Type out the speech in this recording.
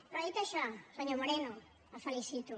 però dit això senyor moreno el felicito